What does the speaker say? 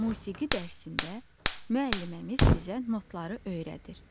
Musiqi dərsində müəlliməmiz bizə notları öyrədir.